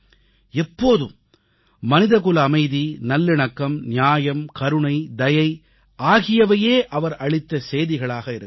எப்போதும் மனிதகுல அமைதி நல்லிணக்கம் நியாயம் கருணை தயை ஆகியவையே அவர் அளித்த செய்திகளாக இருக்கின்றன